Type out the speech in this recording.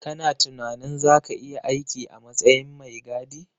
Kana tunanin zaka iya aiki a matsayin mai gadi